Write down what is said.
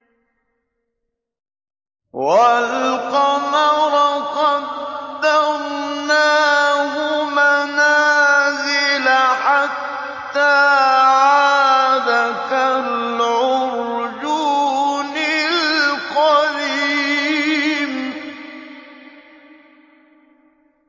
وَالْقَمَرَ قَدَّرْنَاهُ مَنَازِلَ حَتَّىٰ عَادَ كَالْعُرْجُونِ الْقَدِيمِ